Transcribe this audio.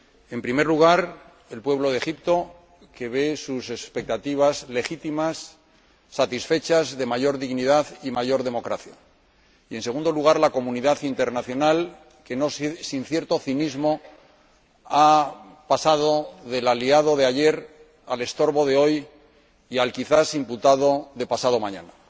En primer lugar, el pueblo de Egipto, que ve satisfechas sus expectativas legítimas de mayor dignidad y mayor democracia, y, en segundo lugar, la comunidad internacional que, no sin cierto cinismo, ha pasado del aliado de ayer al estorbo de hoy y al, quizás, imputado de pasado mañana.